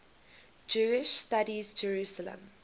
jewish studies jerusalem